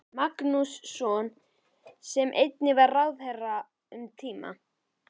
Magnússon sem einnig var ráðherra um tíma.